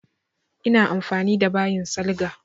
Ina amfani da bayin salga.